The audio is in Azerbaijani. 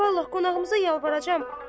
Ana, vallah qonağımıza yalvaracam.